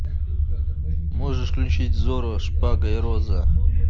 можешь включить зорро шпага и роза